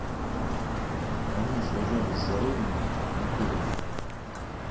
они сражались за родину никулин